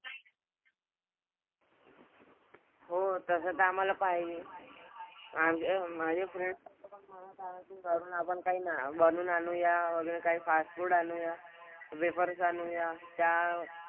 हो तसं तर आम्हाला पाहिजे. आणि माझे friends की घरून आपण काही ना बनवून आणूया वगैरे काय fast food आणूया. Wafers आणूया. त्या,